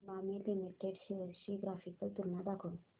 Emami limited shares ची graphical तुलना दाखव